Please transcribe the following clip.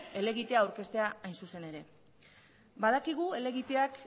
helegitea aurkeztea hain zuzen ere badakigu helegiteak